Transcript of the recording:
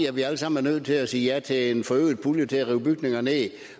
at vi alle sammen er nødt til at sige ja til en forøget pulje til at rive bygninger ned